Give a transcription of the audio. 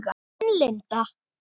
Þín, Linda.